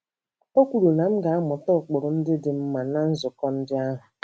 O kwuru na m ga - amụta ụkpụrụ ndị dị mma ná nzukọ ndị ahụ.